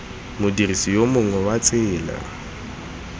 modirisi yo mongwe wa tsela